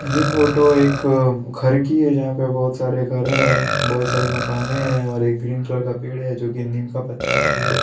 ये फोटो एक घर की है जहाँ पर बहुत सारे घरें हैं बहुत सारी मकानें हैं और एक ग्रीन कलर का पेड़ है जो कि नीम का पत्ता का पेड़ है।